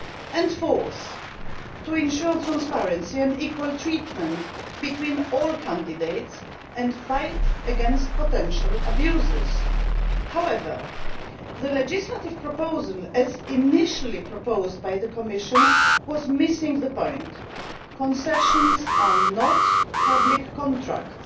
and fourthly, to ensure transparency and equal treatment between all candidates and fight potential abuses. However, the legislative proposal as initially proposed by the Commission was missing the point. Concessions are not public contracts.